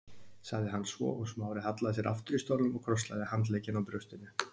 sagði hann svo og Smári hallaði sér aftur í stólnum og krosslagði handleggina á brjóstinu.